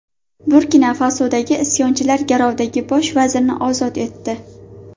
Burkina-Fasodagi isyonchilar garovdagi bosh vazirni ozod etdi.